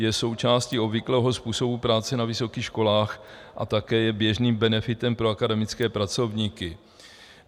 Je součástí obvyklého způsobu práce na vysokých školách a také je běžným benefitem pro akademické pracovníky.